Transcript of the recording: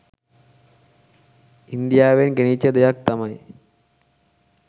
ඉන්දියාවෙන් ගෙනිච්ච දෙයක් තමයි.